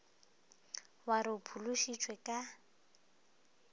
wa re o phološitšwe ka